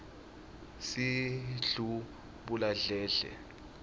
sidlubuladledle